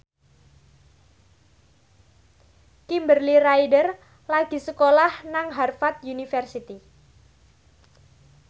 Kimberly Ryder lagi sekolah nang Harvard university